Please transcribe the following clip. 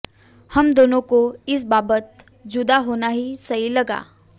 हम दोनों को इस बाबत जुदा होना ही सही लगा